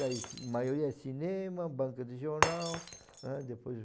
A maioria é cinema, banca de jornal, né, depois